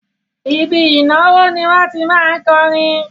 Ibi ìnáwó ni wọ́n tí má ń kọrin